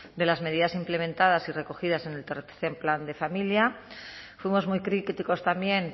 de las medidas implementadas y recogidas en el tercero plan de familia fuimos muy críticos también